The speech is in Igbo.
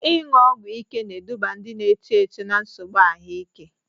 Ịṅụ ọgwụ ike na-eduba ndị na-eto eto na nsogbu ahụike.